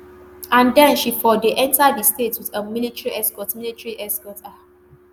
and den she for dey enta di state wit um military escort military escort um